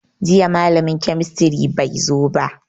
Jiya malamin kemistry bai zo ba